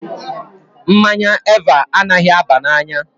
Mmanya Eva anaghị aba n'anya